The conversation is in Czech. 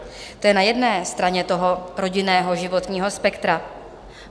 To je na jedné straně toho rodinného životního spektra.